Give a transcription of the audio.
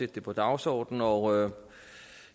det på dagsordenen og